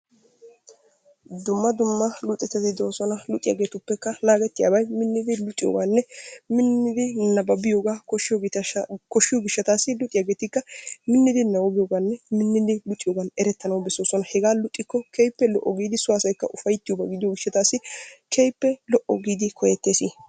Dumma dumma luxettati de'oosona, luxxiyagetuppekka naagetiyabay minnidi luxiyogaanne minnidi nabbabbiyogaa koshshiyo gishshatassi luxiyaageetikka minnidi nabbabbiyoganne luxiyogaan erettana bessees, hegaa luxikko keehippe lo'o giidi so asaykka ufaytiyoba gidiyo gishshatassi keehippe lo'o gididi koyettees.